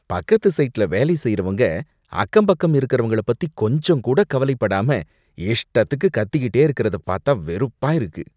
பக்கத்து சைட்ல வேலை செய்யறவங்க அக்கம் பக்கம் இருக்கரவங்கள பத்தி கொஞ்சம்கூட கவலை படாம இஷ்டத்துக்கு கத்திகிட்டே இருக்கறத பாத்தா வெறுப்பா இருக்கு.